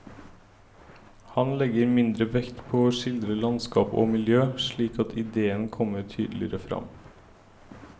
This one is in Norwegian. Han legger mindre vekt på å skildre landskap og miljø, slik at idéen kommer tydeligere frem.